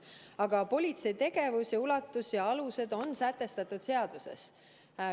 Aga politsei tegevuse ulatus ja alused on sätestatud seaduses.